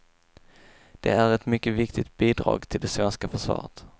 De är ett mycket viktigt bidrag till det svenska försvaret.